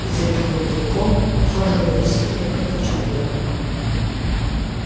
и за белым клыком ухаживали сильно как за человеком